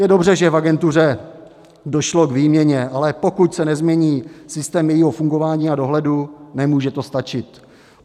Je dobře, že v agentuře došlo k výměně, ale pokud se nezmění systém jejího fungování a dohledu, nemůže to stačit.